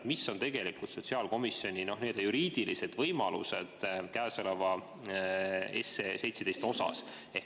Mis on tegelikult sotsiaalkomisjoni juriidilised võimalused käesoleva seaduseelnõu 17 puhul?